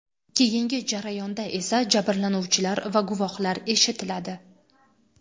Keyingi jarayonda esa jabrlanuvchilar va guvohlar eshitiladi.